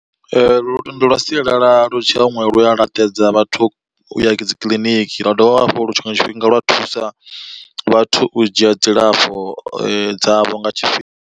Lwendo lwa sialala lu tshiya huṅwe lu a laṱedza vhathu u ya dzi kiḽiniki lwa dovha hafhu lu tshiṅwe tshifhinga lwa thusa vhathu u dzhia dzilafho dzavho nga tshifhinga.